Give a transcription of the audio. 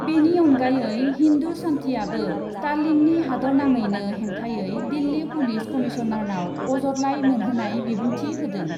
बेनि अनगायै हिन्दु सान्थिआबो स्टालिननि हादरनाङैनो हेंथायै दिल्ली पुलिस कमिसनारआव अजदलाइ मोनहोनाय बिबुंथि होदों ।